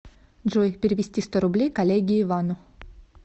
джой перевести сто рублей коллеге ивану